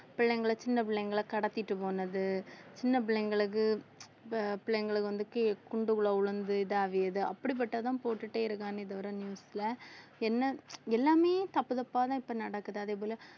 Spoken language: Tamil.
பிள்ளைங்களை சின்ன பிள்ளைங்களை கடத்திட்டு போனது சின்ன பிள்ளைங்களுக்கு பிள்ளைங்களுக்கு வந்து குண்டுக்குள்ள விழுந்து இதாகியது அப்படிப்பட்டதுதான் போட்டுட்டே இருக்கானே தவிர news ல என்ன எல்லாமே தப்பு தப்பாதான் இப்ப நடக்குது அதே போல